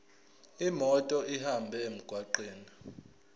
imoto ihambe emgwaqweni